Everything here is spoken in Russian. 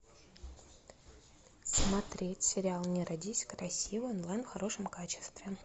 смотреть сериал не родись красивой онлайн в хорошем качестве